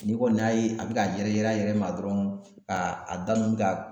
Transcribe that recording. Ne kɔni y'a ye a be ka yɛrɛ yɛrɛ a yɛrɛ ma dɔrɔn ka a da mun ka